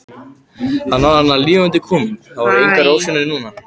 Hann var þarna lifandi kominn, það voru engar ofsjónir núna!